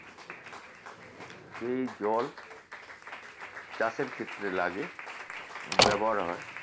এই জল চাষের ক্ষেত্রে লাগে ব্যবহারও হয়